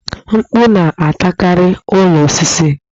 Mkpù na-atakarị ụlọ osisi